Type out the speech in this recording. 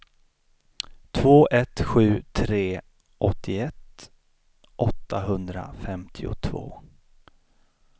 två ett sju tre åttioett åttahundrafemtiotvå